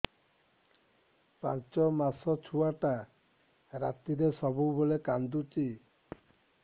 ପାଞ୍ଚ ମାସ ଛୁଆଟା ରାତିରେ ସବୁବେଳେ କାନ୍ଦୁଚି